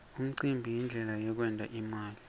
umcimbi yindlela yekwent imali